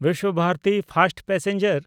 Visva Bharati fast passenger